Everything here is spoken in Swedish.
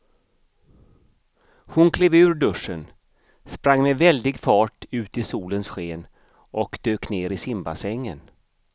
Hon klev ur duschen, sprang med väldig fart ut i solens sken och dök ner i simbassängen.